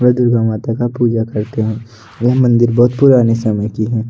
ये दुर्गा माता का पूजा करते हैं वह मंदिर बहुत पुराने समय की है।